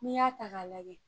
N'i y'a ta k'a lajɛ